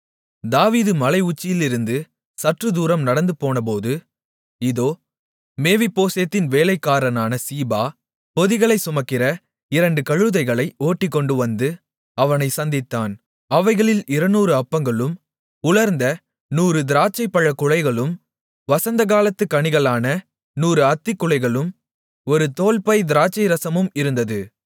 தாவீது மலை உச்சியிலிருந்து சற்றுதூரம் நடந்துபோனபோது இதோ மேவிபோசேத்தின் வேலைக்காரனான சீபா பொதிகளைச் சுமக்கிற இரண்டு கழுதைகளை ஓட்டிக்கொண்டுவந்து அவனை சந்தித்தான் அவைகளில் இருநூறு அப்பங்களும் உலர்ந்த நூறு திராட்சைப்பழக் குலைகளும் வசந்தகாலத்து கனிகளான நூறு அத்திக் குலைகளும் ஒரு தோல்பை திராட்சைரசமும் இருந்தது